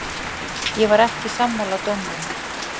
Ég var ekki sammála dómnum.